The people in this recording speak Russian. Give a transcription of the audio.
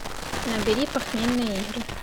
набери похмельные игры